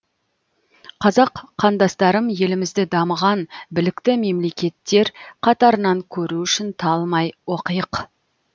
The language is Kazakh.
қазақ қандастарым елімізді дамыған білікті мемлекеттер қатарынан көру үшін талмай оқиық